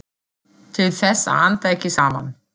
Til þess að anda ekki saman.